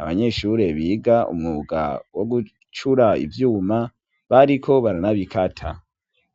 abanyeshure biga umwuga wo gucura ivyuma bariko baranabikata.